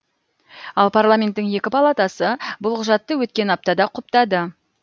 ал парламенттің екі палатасы бұл құжатты өткен аптада құптады